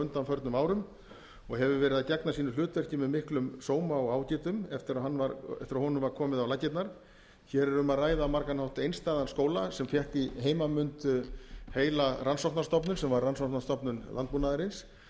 undanförnum árum og hefur verið að gegna sínu hlutverki með miklum sóma og ágætum eftir að honum var komið á laggirnar hér er um að ræða á margan hátt einstæðan skóla sem fékk í heimanmund heila rannsóknarstofnun sem var rannsóknarstofnun landbúnaðarins